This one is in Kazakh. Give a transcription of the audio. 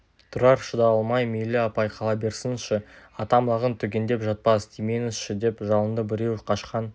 тұрар шыдай алмай мейлі апай қала берсінші атам лағын түгендеп жатпас тимеңізші деп жалынды біреуі қашқан